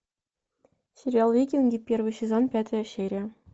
сериал викинги первый сезон пятая серия